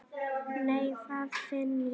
Nei, hvað finn ég!